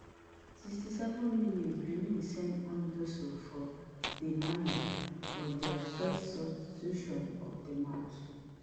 sixty-seven minins benin send on dossou for dalmeida for dia first substitution of di match